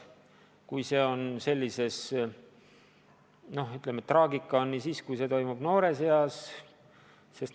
Traagika on ka selles, et kui see toimub noores eas, siis neil ei ole alternatiivset tegevust.